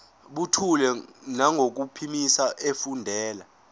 buthule nangokuphimisa efundela